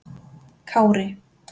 Kári